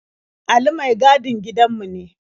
Ali mai gadin gidanmu ne.